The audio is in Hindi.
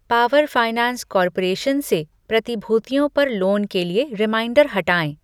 पावर फाइनैंस कॉर्पोरेशन से प्रतिभूतियों पर लोन के लिए रिमाइंडर हटाएँ।